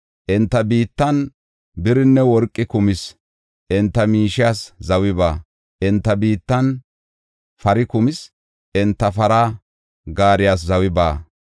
Enta biittan birinne worqey kumis; enta miishiyas zawi baawa. Enta biittan pari kumis; enta para gaariyas zawi baawa.